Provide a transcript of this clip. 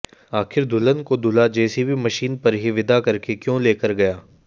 आखिर दुल्हन को दूल्हा जेसीबी मशीन पर ही विदा करके क्यों लेकर गया